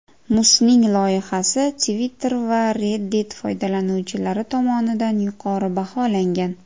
Musning loyihasi Twitter va Reddit foydalanuvchilari tomonidan yuqori baholangan.